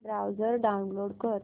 browser download कर